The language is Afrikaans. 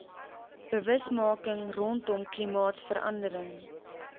bewusmaking rondom klimaatsverandering